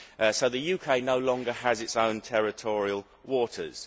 So the UK no longer has its own territorial waters.